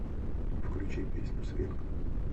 включи песню свинг